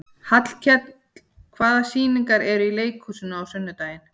Hallkell, hvaða sýningar eru í leikhúsinu á sunnudaginn?